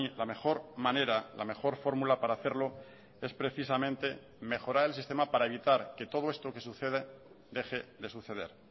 la mejor manera la mejor fórmula para hacerlo es precisamente mejorar el sistema para evitar que todo esto que sucede deje de suceder